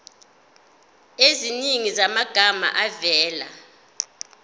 eziningi zamagama avela